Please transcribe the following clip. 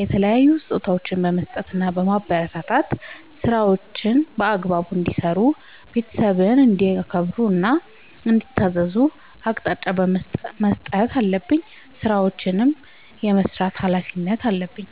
የተለያዩ ስጦታዎችን በመስጠትና በማበረታታት ÷ ስራዎችን በአግባቡ እንዲሰሩ ÷ ቤተሰብን እንዲያከብሩ እና እንዲታዘዙ አቅጣጫ መስጠት አለብኝ። ስራዎችን የመስራት ኃላፊነት አለብኝ።